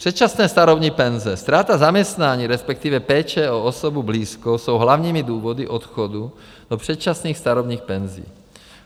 Předčasné starobní penze, ztráta zaměstnání, respektive péče o osobu blízkou, jsou hlavními důvody odchodu do předčasných starobních penzí.